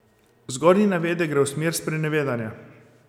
Zgornji navedek gre v smer sprenevedanja.